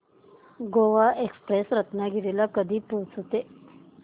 Goa express Ratnagiri ला कधी पोहचते